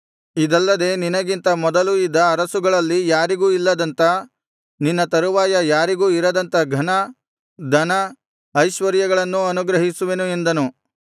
ಇದಲ್ಲದೆ ನಿನಗಿಂತ ಮೊದಲು ಇದ್ದ ಅರಸುಗಳಲ್ಲಿ ಯಾರಿಗೂ ಇಲ್ಲದಂಥ ನಿನ್ನ ತರುವಾಯ ಯಾರಿಗೂ ಇರದಂಥ ಘನ ಧನ ಐಶ್ವರ್ಯಗಳನ್ನೂ ಅನುಗ್ರಹಿಸುವೆನು ಎಂದನು